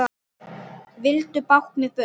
Vildu báknið burt.